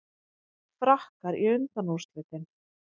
Frakkar í undanúrslitin